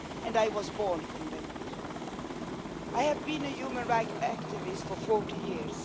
I was born condemned. I have been a human rights activist for 40 years.